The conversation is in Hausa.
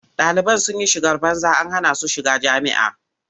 Ɗaliban sun yi shigar banza an hana su shiga jami'a.